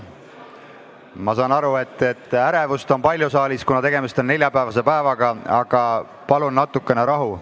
Ma saan aru, et ärevust on saalis palju, kuna tegemist on neljapäevase päevaga, aga palun natukene rahu.